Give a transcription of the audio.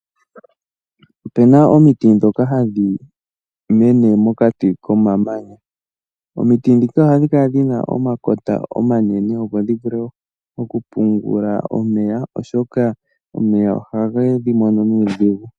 Opu na omiti ndhoka hadhi mene mokati komamanya. Omiti ndhika ohadhi kala dhi na omakota omanene opo dhi vule okupungula omeya, oshoka omeya ohage dhi mono nuudhigu.